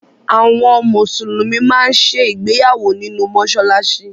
Àwọn Mùsùlùmí máa ń ṣe ìgbéyàwó nínú mọ́ṣáláṣí